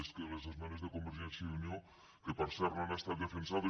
és que les esmenes de convergència i unió que per cert no han estat defensades